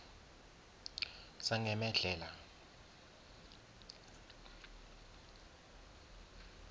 sangemedhlela